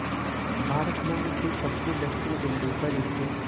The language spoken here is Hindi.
भारत भूमि के सबसे दक्षिण बिंदु पर स्थित